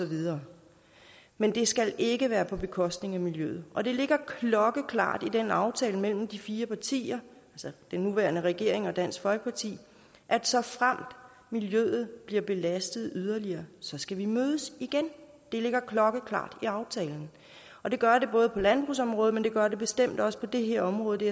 videre men det skal ikke være på bekostning af miljøet og det ligger klokkeklart i aftalen mellem de fire partier altså den nuværende regering og dansk folkeparti at såfremt miljøet bliver belastet yderligere skal vi mødes igen det ligger klokkeklart i aftalen og det gør det både på landbrugsområdet men det gør det bestemt også på det her område det